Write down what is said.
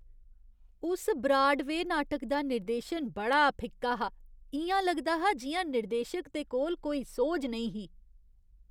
उस ब्राडवेऽ नाटक दा निर्देशन बड़ा फिक्का हा। इ'यां लगदा हा जि'यां निर्देशक दे कोल कोई सोझ नेईं ही।